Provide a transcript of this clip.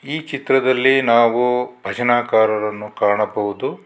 ಈ ಚಿತ್ರದಲ್ಲಿ ನಾವು ಭಜನಾಕಾರರನ್ನು ಕಾಣಬಹುದು.